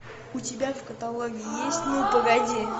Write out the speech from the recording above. у тебя в каталоге есть ну погоди